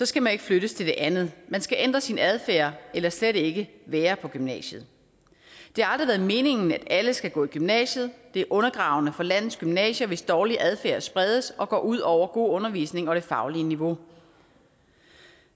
skal man ikke flyttes til det andet man skal ændre sin adfærd eller slet ikke være på gymnasiet det har aldrig været meningen at alle skal gå i gymnasiet det er undergravende for landets gymnasier hvis dårlig adfærd spredes og går ud over god undervisning og det faglige niveau